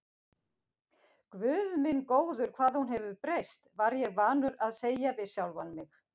Guð minn góður, hvað hún hefur breyst, var ég vanur að segja við sjálfan mig.